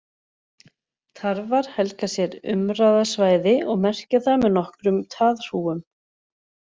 Tarfar helga sér umráðasvæði og merkja það með nokkrum taðhrúgum.